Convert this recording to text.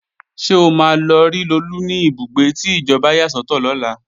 Ṣé o máa lọ rí Lolú ní ibùgbé tí ìjọba yà sọ́tọ̀ lọ́la?